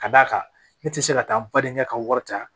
Ka d'a kan ne tɛ se ka taa n badenkɛ ka wari ta